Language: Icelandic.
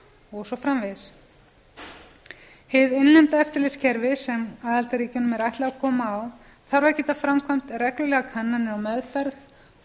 og svo framvegis hið innlenda eftirlitskerfi sem aðildarríkjunum er ætlað að koma á þarf að geta framkvæmt reglulegar kannanir og meðferð og